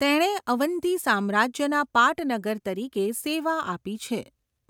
તેણે અવંતી સામ્રાજ્યના પાટનગર તરીકે સેવા આપી છે.